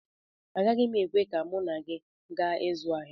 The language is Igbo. Agaghị m ekwe ka mụ na gị gaa ịzụ ahịa